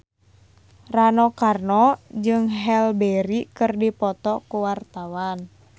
Rano Karno jeung Halle Berry keur dipoto ku wartawan